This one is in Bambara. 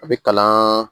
A bɛ kalan